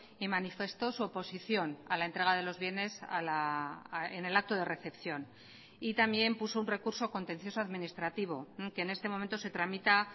y manifestó su oposición a la entrega de los bienes en el acto de recepción y también puso un recurso contencioso administrativo que en este momento se tramita